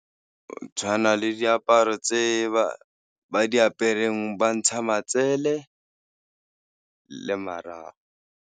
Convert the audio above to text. Tshwana le diaparo tse ba di apereng ba ntshang matsele le marago.